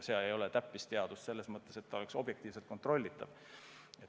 Tegu ei ole täppisteadusega selles mõttes, et kõik oleks objektiivselt kontrollitav.